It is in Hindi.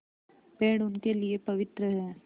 पेड़ उनके लिए पवित्र हैं